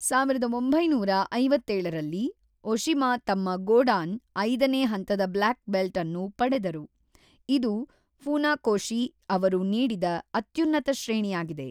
೧೯೫೭ರಲ್ಲಿ, Oshima ತಮ್ಮ ಗೋಡಾನ್ (ಐದನೇ ಹಂತದ ಬ್ಲ್ಯಾಕ್ ಬೆಲ್ಟ್ ) ಅನ್ನು ಪಡೆದರು, ಇದು ಫುನಾಕೋಶಿ ಅವರು ನೀಡಿದ ಅತ್ಯುನ್ನತ ಶ್ರೇಣಿಯಾಗಿದೆ.